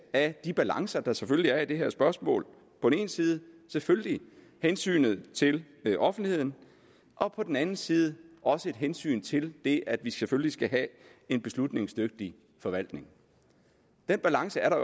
af de balancer der selvfølgelig er i det her spørgsmål på den ene side selvfølgelig hensynet til offentligheden og på den anden side hensynet til det at vi selvfølgelig skal have en beslutningsdygtig forvaltning den balance er der